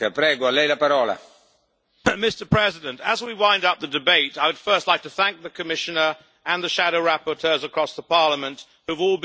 Mr President, as we wind up the debate I would first like to thank the Commissioner and the shadow rapporteurs across Parliament who have all been very supportive throughout the process.